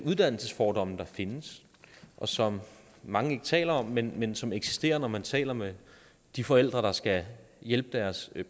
uddannelsesfordomme der findes og som mange ikke taler om men men som eksisterer når man taler med de forældre der skal hjælpe deres